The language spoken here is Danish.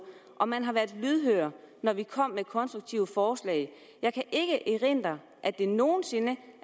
og man har været lydhør når vi kom med konstruktive forslag jeg kan ikke erindre at det nogensinde